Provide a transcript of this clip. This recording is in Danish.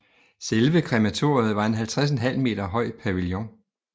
Selve krematoriet var en 50½ høj pavillon